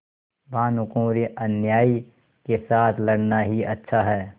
भानुकुँवरिअन्यायी के साथ लड़ना ही अच्छा है